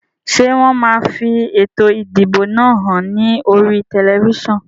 Ṣé wọn máa fi ètò ìdìbò náà hàn ní oríi tẹlifísàn?